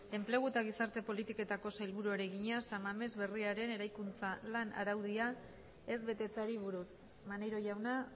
enplegu eta gizarte politiketako sailburuari egina san mames berriaren eraikuntzan lan araudia ez betetzeari buruz maneiro jauna